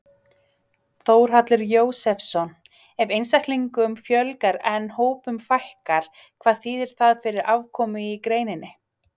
Þórhallur Jósefsson: Ef einstaklingum fjölgar en hópum fækkar, hvað þýðir það fyrir afkomu í greininni?